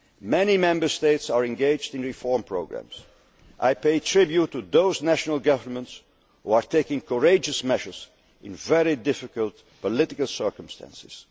surveillance. Many Member States are engaged in reform programmes. I pay tribute to those national governments who are taking courageous measures in very difficult political